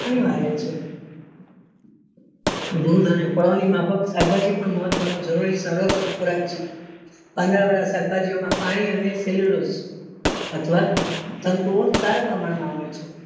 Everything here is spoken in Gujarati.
અનિવાર્ય છે દૂધ અને ફળ ની માફક શાકભાજી પણ મહત્વ નું જરૂરી ખોરાક છે વાળા શાકભાજી માં પાણી અને અથવા તંતુ ઓ સારા પ્રમાણ માં હોય છે.